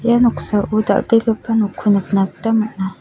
ia noksao dal·begipa nokko nikna gita man·a.